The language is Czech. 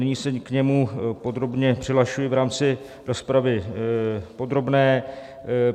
Nyní se k němu podrobně přihlašuji v rámci rozpravy podrobné.